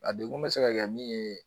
A degun bɛ se ka kɛ min ye